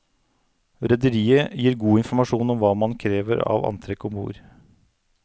Rederiet gir god informasjon om hva man krever av antrekk om bord.